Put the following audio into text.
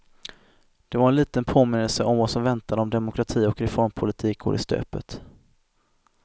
Det var en liten påminnelse om vad som väntar om demokrati och reformpolitik går i stöpet.